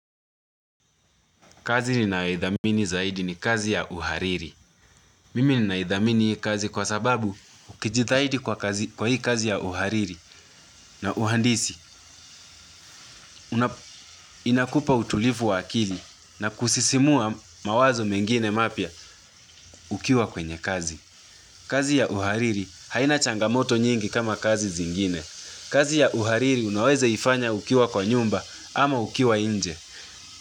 Kazi ninayoidhamini zaidi ni kazi ya uhariri. Mimi ninaidhamini hii kazi kwa sababu ukijitahidi kwa hii kazi ya uhariri na uhandisi inakupa utulivu wa akili na kusisimua mawazo mengine mapya ukiwa kwenye kazi. Kazi ya uhariri haina changamoto nyingi kama kazi zingine. Kazi ya uhariri unawezaifanya ukiwa kwa nyumba ama ukiwa nje.